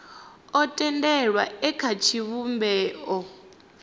o tendelwaho e kha tshivhumbeo